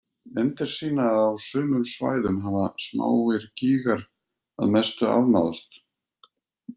Myndir sýna að á sumum svæðum hafa smáir gígar að mestu afmáðst.